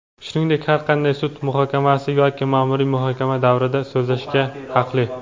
shuningdek har qanday sud muhokamasi yoki maʼmuriy muhokama davrida so‘zlashga haqli.